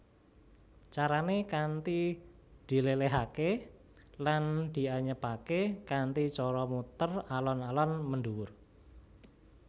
Carané kanthi diléléhaké lan dianyepaké kanthi cara muter alon alon mendhuwur